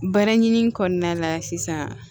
Baara ɲini kɔnɔna la sisan